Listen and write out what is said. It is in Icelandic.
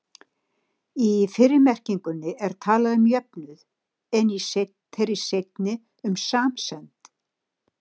Í fyrri merkingunni er talað um jöfnuð, en í þeirri seinni um samsemd.